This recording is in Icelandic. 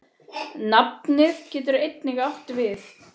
Nafnið getur einnig átt við